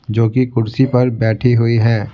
जो कि कुर्सी पर बैठी हुई है।